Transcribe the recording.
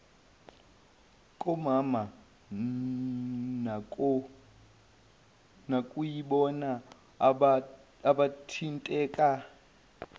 komama nokuyibona abathinteka